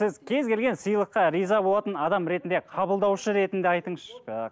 сіз кез келген сыйлыққа риза болатын адам ретінде қабылдаушы ретінде айтыңызшы